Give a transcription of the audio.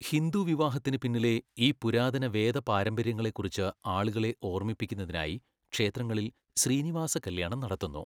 ഹിന്ദു വിവാഹത്തിന് പിന്നിലെ ഈ പുരാതന വേദ പാരമ്പര്യങ്ങളെക്കുറിച്ച് ആളുകളെ ഓർമ്മിപ്പിക്കുന്നതിനായി ക്ഷേത്രങ്ങളിൽ ശ്രീനിവാസ കല്യാണം നടത്തുന്നു.